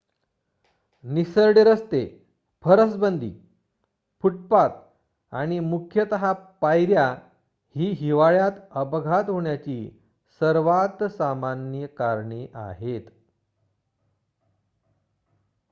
निसरडे रस्ते फरसबंदी फूटपाथ आणि मुख्यतः पायऱ्या ही हिवाळ्यात अपघात होण्याची सर्वात सामान्य कारणे आहेत